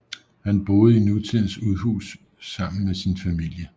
Han boede i nutidens udhus sammen med sin familie